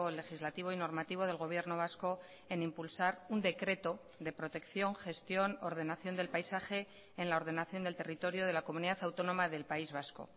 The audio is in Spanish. legislativo y normativo del gobierno vasco en impulsar un decreto de protección gestión ordenación del paisaje en la ordenación del territorio de la comunidad autónoma del país vasco